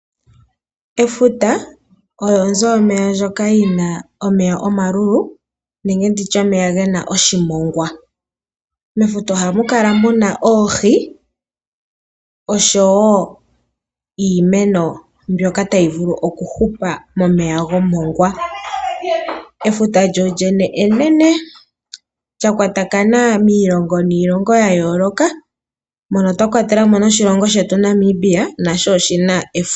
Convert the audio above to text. Efuta olyo onzo yomeya ndjoka yina omeya omalulu ano omeya gena oshimongwa. Mefuta ohamu kala muna oohi osho wo iimeno mbyoka tayi vulu okuhupa momeya gomongwa. Efuta enene lyakwatathana niilongo yayooloka mwakwatelwa oshilongo Namibia, nasho oshina efuta.